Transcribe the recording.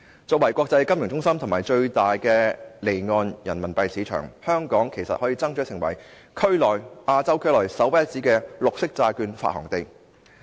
作為國際金融中心及最大的離岸人民幣市場，香港其實可爭取成為亞洲區內首屈一指的綠色債券發行地。